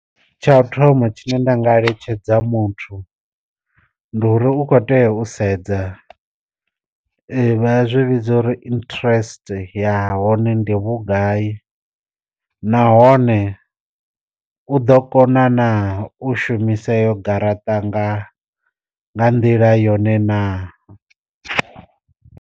Tsha u thoma tshine nda nga eletshedza muthu, ndi uri u kho tea u sedza vha zwi vhidza uri interest ya hone ndi vhugai nahone u ḓo kona na u shumisa eyo garaṱa nga nga nḓila yone na.